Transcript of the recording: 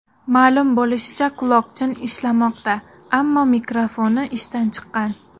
Ma’lum bo‘lishicha, quloqchin ishlamoqda, ammo mikrofoni ishdan chiqqan.